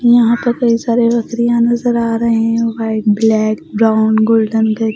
यहां पे कई सारे बकरियां नजर आ रहे हैं व्हाईट ब्लैक ब्राउन गोल्डन